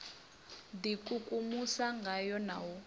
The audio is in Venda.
d ikukumusa ngayo na u